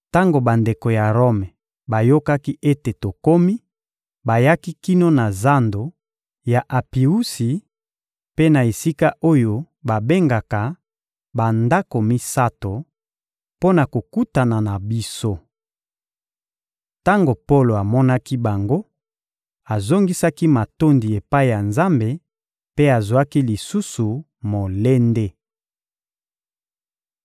Tango bandeko ya Rome bayokaki ete tokomi, bayaki kino na zando ya Apiusi mpe na esika oyo babengaka «Bandako misato,» mpo na kokutana na biso. Tango Polo amonaki bango, azongisaki matondi epai ya Nzambe mpe azwaki lisusu molende.